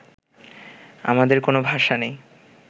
আমাদের কোনো ভাষা নেই